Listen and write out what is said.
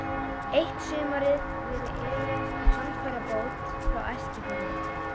Eitt sumarið reri Elías á handfærabát frá Eskifirði.